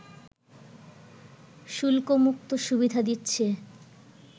শুল্কমুক্ত সুবিধা দিচ্ছে